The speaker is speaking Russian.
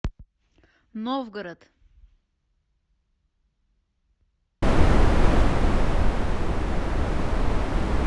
новгород